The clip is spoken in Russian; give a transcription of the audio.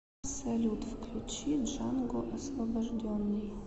салют включи джанго освобожденный